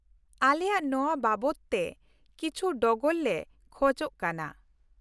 ᱟᱞᱮᱭᱟᱜ ᱱᱚᱶᱟ ᱵᱟᱵᱚᱫ ᱛᱮ ᱠᱤᱪ ᱷᱤ ᱰᱚᱜᱚᱨ ᱞᱮ ᱠᱷᱚᱡ ᱠᱟᱱᱟ ᱾